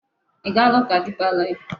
Ị gaala ụka Deeper Life?